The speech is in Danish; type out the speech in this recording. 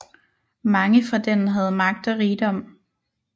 Mange fra den havde magt og rigdom